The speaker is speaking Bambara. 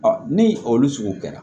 ni olu sugu kɛra